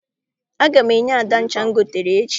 Aga m enye Ada ncha m goteere ya echi.